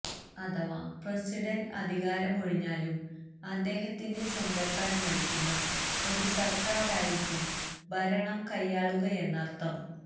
അഥവാ പ്രസിഡണ്ട് അധികാരമൊഴിഞ്ഞാലും അദ്ദേഹത്തിന്റെ സ്വന്തക്കാര് നയിക്കുന്ന ഒരു സര്ക്കാറായിരിക്കും ഭരണം കൈയാളുകയെന്നര്ഥം